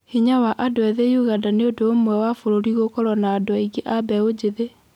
Hinya wa andũ ethĩ Ũganda nĩ ũndũ umwe wa bũrũri gũkorwo na andũ aingĩ ma mbeu jĩthĩ